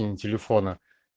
телефона